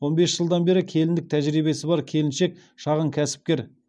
он бес жылдан бері келіндік тәжірибесі бар келіншек шағын кәсіпкер